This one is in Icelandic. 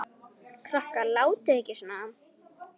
Krakkar látiði ekki svona!